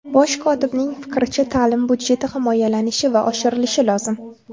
Bosh kotibning fikricha, ta’lim budjeti himoyalanishi va oshirilishi lozim.